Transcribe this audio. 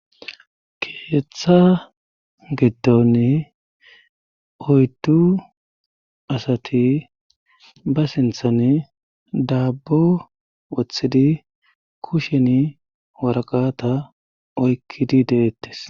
keeththa gittonne oyddu asati ba sinthanne daabbo wothidi kushen waraqata oykkidi deettes